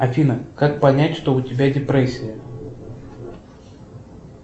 афина как понять что у тебя депрессия